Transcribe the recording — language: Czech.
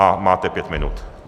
A máte pět minut.